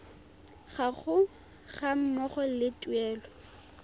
gago ga mmogo le tuelo